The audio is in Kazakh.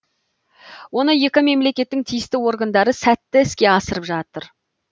оны екі мемлекеттің тиісті органдары сәтті іске асырып жатыр